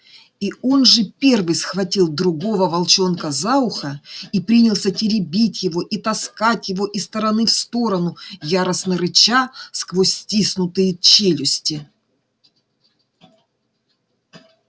и он же первый схватил другого волчонка за ухо и принялся теребить его и таскать его из стороны в сторону яростно рыча сквозь стиснутые челюсти